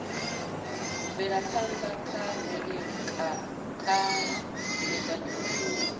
bvelaphanda ha mvelele kha mbekanyamishumo